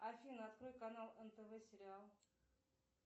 афина открой канал нтв сериал